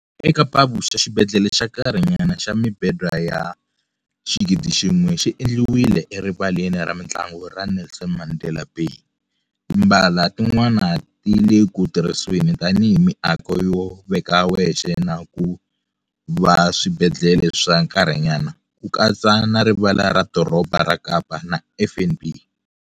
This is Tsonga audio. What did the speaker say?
EKapa-Vuxa, xibedhlele xa nkarhinyana xa mibedwa ya 1000 xi endliwile eRivaleni ra Mitlangu ra Nelson Mandela Bay, timbala tin'wana ti le ku tirhisiweni tanihi miako yo veka wexe na ku va swibedhlele swa nkarhinyana, ku katsa na Rivala ra Doroba ra Kapa na FNB.